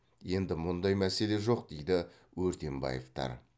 енді мұндай мәселе жоқ дейді өртенбаевтар